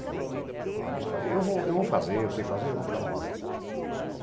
Aí eu falei, eu vou eu vou fazer, eu sei fazer, eu vou fazer.